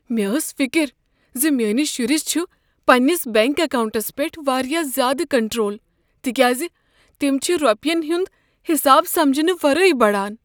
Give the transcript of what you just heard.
مےٚ ٲس فکر ز میٛٲنس شرس چھ پننس بنٛک اکاونٹس پیٹھ واریاہ زیٛادٕ کنٹرول، تکیاز تم چھ رۄپین ہنٛد حساب سمجنہٕ ورٲے بڑان۔